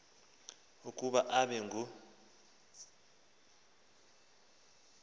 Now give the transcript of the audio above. ukuba abe ngu